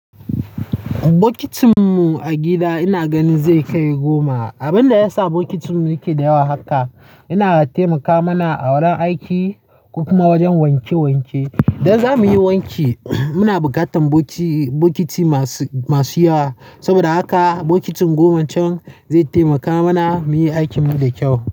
Bokitin mu a gida ina gani zai kai goma. Abin da ya sa bokitin muke da yawa haka yana taimaka mana a wurin aiki kuma wajen wanke wanke. Idan za mu yi wanki, muna bukatan bokiti masu yawa. Saboda haka bokitin goma can zai taimaka mana mu yi aikin mu da kyau.